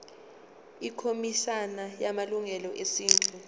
ikhomishana yamalungelo esintu